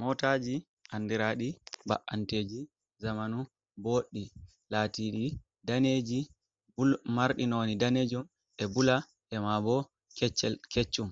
Motaji andiraɗi ba’anteji zamanu boɗɗi, latiɗi daneji marɗi nondi danejum, e bula, ema bo keccum,